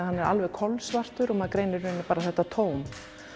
hann er kolsvartur og maður greinir bara þetta tóm